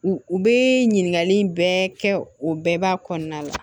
U u bɛ ɲininkali in bɛɛ kɛ o bɛɛ b'a kɔnɔna la